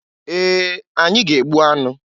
Ee! Anyị ga-egbu anụ.